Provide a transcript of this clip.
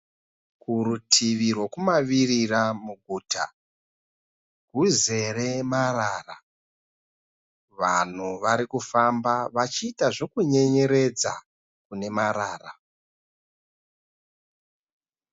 Kurutivi rwekumavirira muguta, rwuzere marara. Vanhu varikufamba achiita zvekunyenyeredza kunemarara.